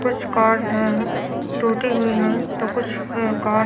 कुछ कार्स हैं टूटी हुई हैं तो कुछ बेकार--